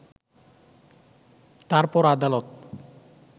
তারপর আদালত